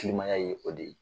Kilimaya ye o de ye